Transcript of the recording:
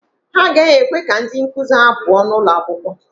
Ha agaghị ekwe ka ndị nkụzi ha pụọ n'ụlọ akwụkwọ.